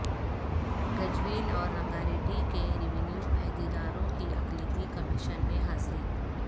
گجویل اور رنگاریڈی کے ریونیو عہدیداروں کی اقلیتی کمیشن میں حاضری